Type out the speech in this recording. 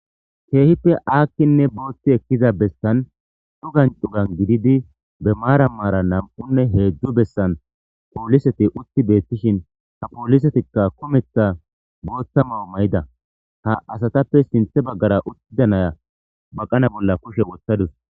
Keehippe aakkinne bootti ekkiza bestan dhu gancugan gididi be maarammara nam'unne heedzdzu bessan pooliseti utti beettishin ha poollisetikka kumetha bootta mao may'ida ha asatappe sinthe baggara uttida naya baqana bolla kushe wothtadus.